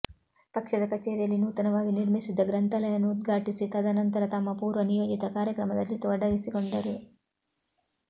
ಪಕ್ಷದ ಕಚೇರಿಯಲ್ಲಿ ನೂತನವಾಗಿ ನಿರ್ಮಿಸಿದ್ದ ಗ್ರಂಥಾಲಯವನ್ನು ಉದ್ಘಾಟಿಸಿ ತದ ನಂತರ ತಮ್ಮ ಪೂರ್ವ ನಿಯೋಜಿತ ಕಾರ್ಯಕ್ರಮದಲ್ಲಿ ತೊಡಗಿಸಿಕೊಂಡರು